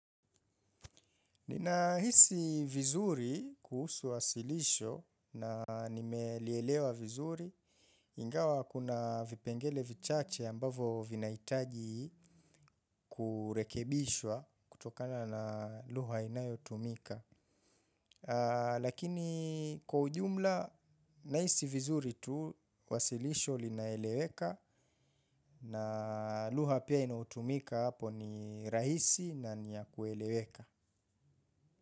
Ninahisi vizuri kuhusu wasilisho na nimelielewa vizuri, ingawa kuna vipengele vichache ambavo vinahitaji kurekebishwa kutokana na lugha inayotumika. Lakini kwa ujumla, nahisi vizuri tu wasilisho linaeleweka na lugha pia inayotumika hapo ni rahisi na niya kueleweka.